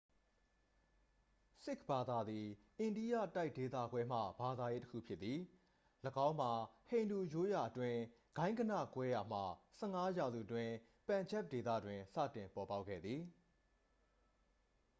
"""ဆစ်ခ်ဘာသာသည် အိန္ဒိယတိုက်ဒေသခွဲမှ ဘာသာရေး တစ်ခုဖြစ်သည်။ ၎င်းမှာ ဟိန္ဒူရိုးရာအတွင်း ဂိုဏ်းဂဏကွဲရာမှ ၁၅ ရာစုအတွင်း ပန်ဂျပ်ဒေသတွင် စတင်ပေါ်ပေါက်ခဲ့သည်။""